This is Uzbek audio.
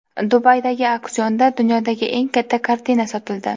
Dubaydagi auksionda dunyodagi eng katta kartina sotildi.